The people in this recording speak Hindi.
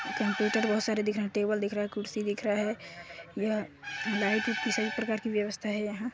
कंप्यूटर बहोत सारे दिख रहे टेबल दिख रहा कुर्सी दिख रहा है यह लाइट सभी प्रकार की व्यवस्था है यहाँ।